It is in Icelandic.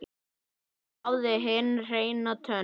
Hún hafði hinn hreina tón.